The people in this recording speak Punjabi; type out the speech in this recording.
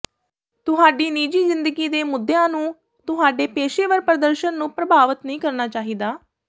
ਤੁਹਾਡੀ ਨਿੱਜੀ ਜ਼ਿੰਦਗੀ ਦੇ ਮੁੱਦਿਆਂ ਨੂੰ ਤੁਹਾਡੇ ਪੇਸ਼ੇਵਰ ਪ੍ਰਦਰਸ਼ਨ ਨੂੰ ਪ੍ਰਭਾਵਤ ਨਹੀਂ ਕਰਨਾ ਚਾਹੀਦਾ